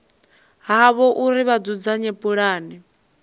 havho uri vha dzudzanye pulane